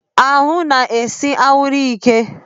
Ahụ na-ese anwụrụ ike.